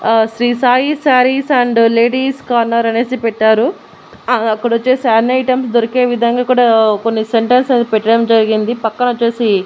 ఆ Shri Sai sarees and ladies corner అనేసి పెట్టారు ఆ అక్కడొచ్చేసి అన్ని ఐటమ్స్ దొరికే విధంగా కుడా కొన్ని అనేవి పెట్టడం జరిగింది పక్కనొచ్చేసి--